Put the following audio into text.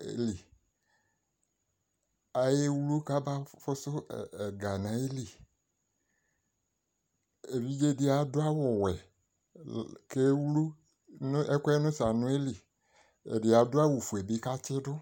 yɛ li Ayewlu kabafʋsʋ ɛ ɛ ɛga nʋ ayili Evidze dɩ adʋ awʋwɛ kewlu nʋ ɛkʋ yɛ nʋ saranʋ yɛ li Ɛdɩ adʋ awʋfue bɩ kʋ atsɩdʋ